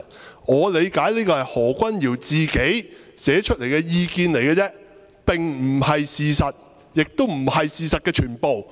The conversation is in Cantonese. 據我理解，這是何君堯議員自己寫出來的意見而已，並非事實，亦不是事實的全部。